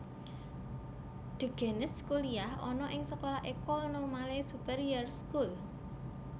De Gennes kuliyah ana ing sekolah École Normale Supérieure School